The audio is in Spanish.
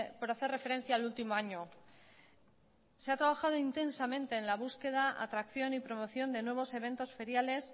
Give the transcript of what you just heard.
por hacer referencia al último año se ha trabajado intensamente en la búsqueda atracción y promoción de nuevos eventos feriales